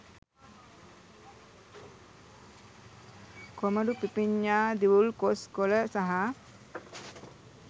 කොමඩු පිපිඤ්ඤා දිවුල් කොස් කොළ සහ